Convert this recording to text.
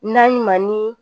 Naɲuman